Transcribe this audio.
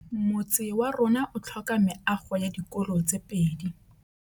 Motse warona o tlhoka meago ya dikolô tse pedi.